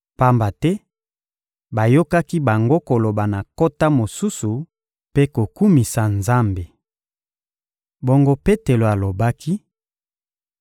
Pamba te bayokaki bango koloba na nkota mosusu mpe kokumisa Nzambe. Bongo Petelo alobaki: